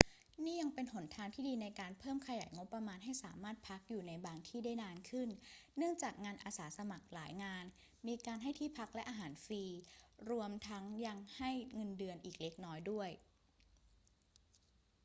นี่ยังเป็นหนทางที่ดีในการเพิ่มขยายงบประมาณให้สามารถพักอยู่ในบางที่ได้นานขึ้น เนื่องจากงานอาสาสมัครหลายงานมีการให้ที่พักและอาหารฟรี รวมทั้งยังให้เงินเดือนอีกเล็กน้อยด้วย